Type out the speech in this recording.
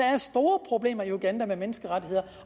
er store problemer i uganda med menneskerettigheder